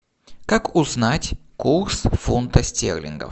как узнать курс фунта стерлингов